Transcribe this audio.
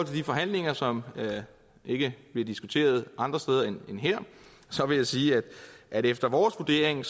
de forhandlinger som ikke bliver diskuteret andre steder end her vil jeg sige at de efter vores vurdering